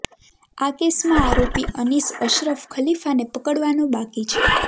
આ કેસમાં આરોપી અનીસ અશરફ ખલીફાને પકડવાનો બાકી છે